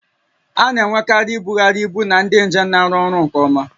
A na-enwekarị ibugharị ibu na ndị njem na-arụ ọrụ nke ọma